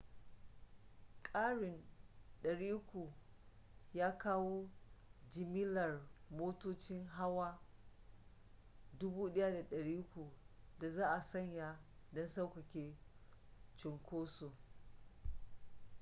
karin 300 ya kawo jimillar motocin hawa 1,300 da za a saya don sauƙaƙe cunkoson